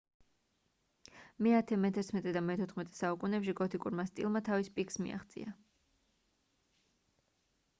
მე-10 მე-11 და მე-14 საუკუნეებში გოთიკურმა სტილმა თავის პიკს მიაღწია